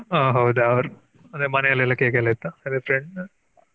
ಹ ಹೌದಾ ಅಂದ್ರೆ ಮನೇಲಿ ಎಲ್ಲ cake ಎಲ್ಲ ಇತ್ತ?